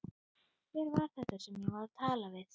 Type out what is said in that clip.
Hver var þetta sem ég var að tala við?